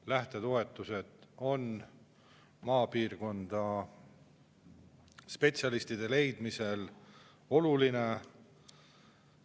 Lähtetoetused on spetsialistide maapiirkonda leidmiseks olulised.